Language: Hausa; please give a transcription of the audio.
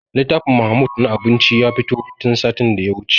Littafin mahmud na abinci ya fito tun satin da ya wuce